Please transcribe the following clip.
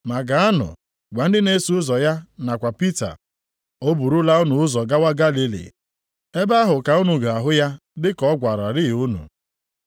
Ma gaanụ gwa ndị na-eso ụzọ ya nakwa Pita, ‘O burula unu ụzọ gawa Galili. Ebe ahụ ka unu ga-ahụ ya dị ka ọ gwararịị unu.’ ”